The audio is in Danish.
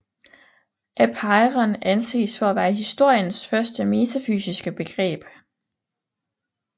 Apeiron anses for at være historiens første metafysiske begreb